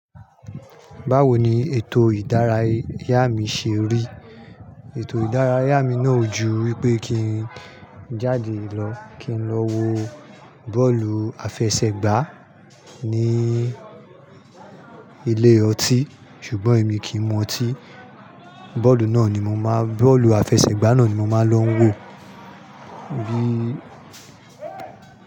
Báwo ni ètò ìdárayá mi ṣe rí? Ètò ìdárayá mi náà ju wípé kí n jáde lọ kí n lọ wo bọ́ọ̀lù àfẹsẹ̀gbá ní ilé ọtí ṣùgbọ́n èmi kì í mu ọtí. Bọ́ọ̀lù náà ni mo máa, bọ́ọ̀lù àfẹsẹ̀gbá náà ni mo máa ń lọ wo bí.